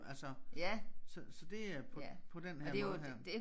Altså så så det er på på den her måde her